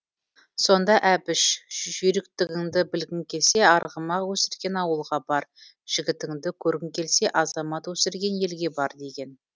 сонда әбіш жүйріктігіңді білгің келсе арғымақ өсірген ауылға бар жігіттігіңді көргің келсе азамат өсірген елге бар деген